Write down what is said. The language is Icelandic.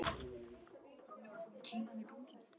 Þú veist ekki hvað ég er sek.